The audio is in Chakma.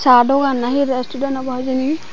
sa dogan na hi restuden obo hijeni.